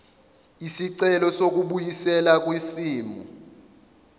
isicelo sokubuyiselwa kwisimo